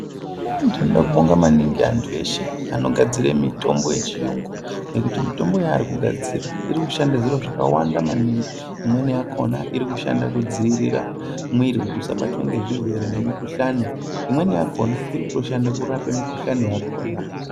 Ndinode kubonga maningi antu eshe anogadzire mitombo yechiyungu nekuti mitombo yaari kugadzira irikushanda zviro zvakawanda maningi imweni yakona irikushande kudzivirira mwiri kuti usabatwa ngezvirwere nemikhuhlani imweni yakona irikutoshande kurape mikhuhlani yakona.